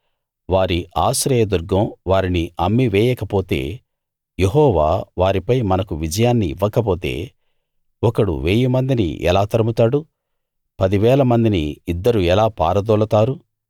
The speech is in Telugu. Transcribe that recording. వారి ఆశ్రయదుర్గం వారిని అమ్మి వేయకపోతే యెహోవా వారిపై మనకు విజయాన్నివ్వకపోతే ఒకడు వేయి మందిని ఎలా తరుముతాడు పదివేల మందిని ఇద్దరు ఎలా పారదోలతారు